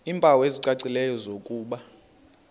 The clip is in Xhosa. iimpawu ezicacileyo zokuba